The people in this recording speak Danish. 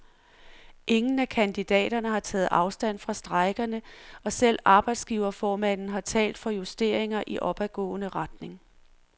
Ingen af kandidaterne har taget afstand fra strejkerne, og selv arbejdsgiverformanden har talt for justeringer i opadgående retning.